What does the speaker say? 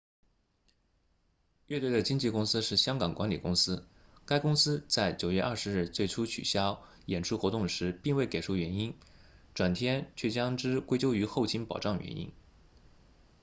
乐队的经纪公司是香港管理公司 hk management inc 该公司在9月20日最初取消演出活动时并未给出原因转天却将之归咎于后勤保障原因